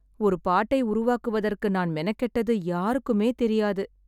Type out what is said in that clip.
ஒரு பாட்டு உருவாக்குவதற்கு நான் மெனக்கெட்டது யாருக்குமே தெரியாது.